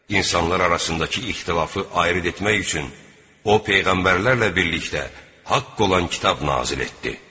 İnsanlar arasındakı ixtilafı ayırd etmək üçün o peyğəmbərlərlə birlikdə haqq olan kitab nazil etdi.